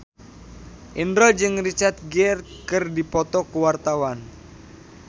Indro jeung Richard Gere keur dipoto ku wartawan